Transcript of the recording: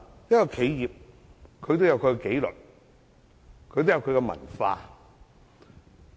任何企業均有其紀律和文化。